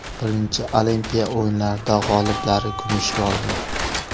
Birinchi Olimpiya o‘yinlarida g‘oliblari kumushga olgan.